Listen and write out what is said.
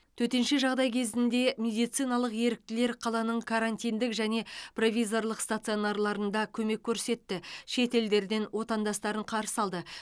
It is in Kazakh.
төтенше жағдай кезінде медициналық еріктілер қаланың карантиндік және провизорлық стационарларында көмек көрсетті шет елдерден отандастарын қарсы алды